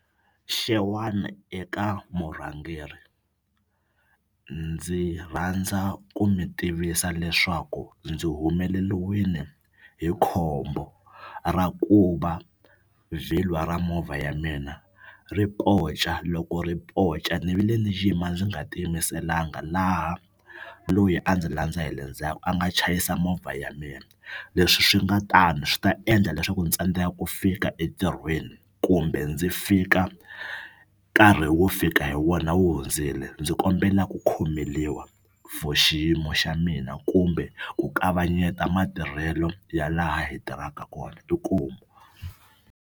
Xewani eka murhangeri ndzi rhandza ku mi tivisa leswaku ndzi humeleliwini hi khombo ra ku va vhilwa ra movha ya mina ri ponca loko ri ponca ni vi le ni yima ndzi nga ti yimiselanga laha loyi a ndzi landza hi le ndzhaku a nga chayisa movha ya mina leswi swi nga tani swi ta endla leswaku ni tsandzeka ku fika entirhweni kumbe ndzi fika nkarhi wo fika hi wona wu hundzile ndzi kombela ku khomeliwa for xiyimo xa mina kumbe ku kavanyeta matirhelo ya laha hi tirhaka kona inkomu.